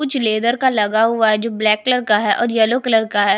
कुछ लेदर का लगा हुआ है जो ब्लैक कलर का है और येल्लो कलर का है।